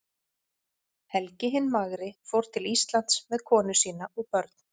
Helgi hinn magri fór til Íslands með konu sína og börn.